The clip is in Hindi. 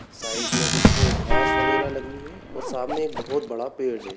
साइड में कुछ घास वगेरा लगी है और सामने बड़ा पेड़ है ।